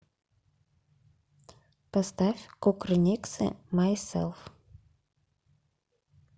поставь кукрыниксы майселф